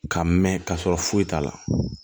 Ka mɛn ka sɔrɔ foyi t'a la